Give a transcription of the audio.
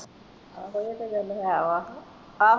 ਆਹੋ ਇਹ ਤੇ ਗਲ ਹੈ ਵਾਹ ਆਹੋ